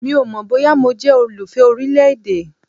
Mi ò mọ̀ bóyá mo jẹ́ olùfẹ orílẹ̀-èdè.